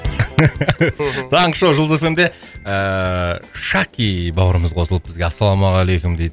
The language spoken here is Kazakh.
таңғы шоу жұлдыз эф эм де ыыы шаки бауырымыз қосылыпты бізге ассалаумағалейкум дейді